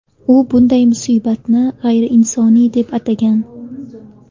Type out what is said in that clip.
U bunday munosabatni g‘ayriinsoniy deb atagan.